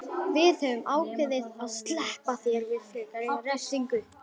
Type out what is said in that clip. Við höfum ákveðið að SLEPPA ÞÉR VIÐ FREKARI REFSINGU.